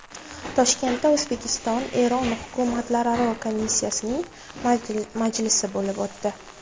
Toshkentda O‘zbekiston – Eron hukumatlararo komissiyasining majlisi bo‘lib o‘tdi .